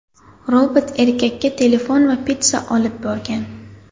Robot erkakka telefon va pitssa olib borgan.